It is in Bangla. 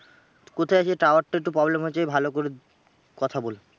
কোথায় আছিস tower টা একটু problem হচ্ছে ভাল করে কথা বল।